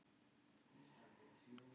Það er svei mér gott.